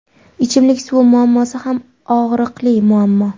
Ichimlik suv muammosi ham og‘riqli muammo.